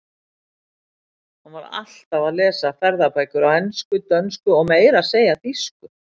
Hann var alltaf að lesa ferðabækur á ensku, dönsku og meira að segja þýsku.